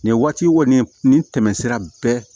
Nin waati kɔni nin tɛmɛ sira bɛɛ